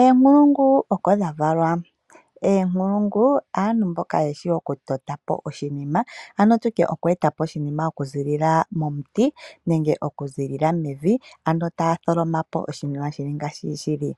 Eenkulungu oko dha valwa, eenkulungu aantu mboka yeshi oku totapo oshinima ano tutye okweetapo oshinima okuziilila momuti nenge okuziilila mevi, ano taa tholomapo oshinima ngeshi shili.